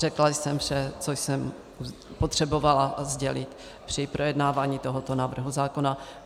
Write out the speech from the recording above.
Řekla jsem vše, co jsem potřebovala sdělit při projednávání tohoto návrhu zákona.